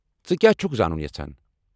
ژٕ کیٛاہ چھُکھ زانُن یژھان ؟